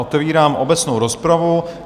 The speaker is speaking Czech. Otevírám obecnou rozpravu.